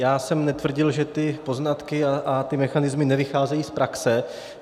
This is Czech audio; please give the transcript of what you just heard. Já jsem netvrdil, že ty poznatky a ty mechanismy nevycházejí z praxe.